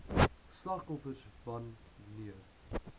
slagoffers wan neer